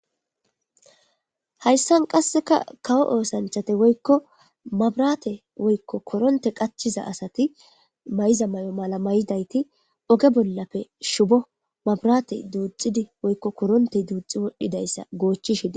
hayssan qasseka kawo oosanchate woykko mabirate woykko koronte qachiza asati may7iza may7o mala may7dayti oge bollappe shubo mabrate duuxxidi woykko koronte duuxi wodhdhidayssa goochishidi